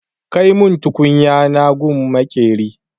Kai mun tukunya na gun maƙera!